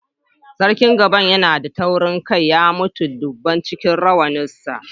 Sarkin Gbogan yana da taurin kai, ya mutu duban cikin rawanin sa.